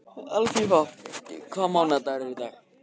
Alfífa, hvaða mánaðardagur er í dag?